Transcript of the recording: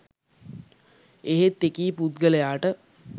එහෙත් එකී පුද්ගලයාට